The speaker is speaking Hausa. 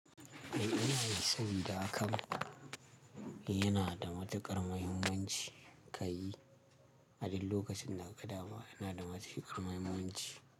Kai ina da account, yana da matuƙar muhimmanci ka yi, a duk lokacin da ka ga dama, yana da matuƙar muhimmanci.